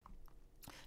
TV 2